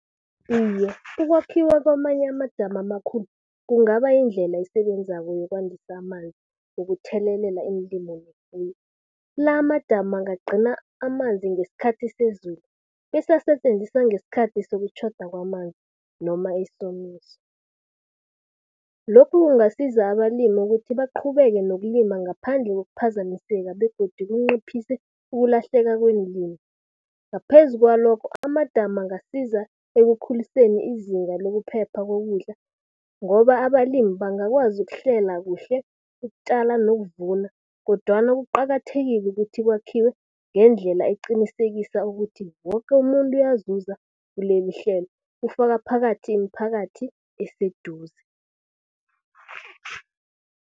Iye, ukwakhiwa kwamanye amadamu amakhulu kungaba yindlela esebenzako yokwandisa amanzi wokuthelelela iinlimo nefuyo. La amadamu angagcina amanzi ngeskhathi sezulu, bese asetjenziswa ngeskhathi sokutjhoda kwamanzi noma isomiso. Lokhu kungasiza abalimi ukuthi baqhubeke nokulima ngaphandle kokuphazamiseka begodu kunciphise ukulahleka kweenlimi. Ngaphezu kwalokho amadamu angasiza ekukhuliseni izinga lokuphepha kokudla ngoba abalimi bangakwazi ukuhlela kuhle ukutjala nokuvuna. Kodwana kuqakathekile ukuthi kwakhiwe ngendlela eqinisekisa ukuthi, woke umuntu uyazuza kulelihlelo ukufaka phakathi, imiphakathi eseduze.